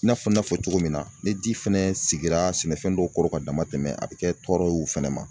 I n'a fɔ n y'a fɔ cogo min na ni ji fɛnɛ sigira sɛnɛfɛn dɔw kɔrɔ ka dama tɛmɛ a bɛ kɛ tɔɔrɔ ye u fɛnɛ ma